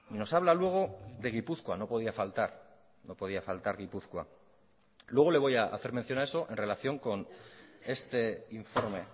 nos habla luego de gipuzkoa no podía faltar no podía faltar gipuzkoa luego le voy a hacer mención a eso en relación con este informe